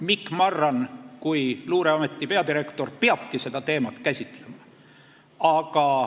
Mikk Marran kui luureameti peadirektor peabki seda teemat käsitlema.